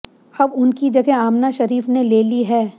अब उनकी जगह आमना शरीफ ने ले ली है